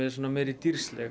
dýrsleg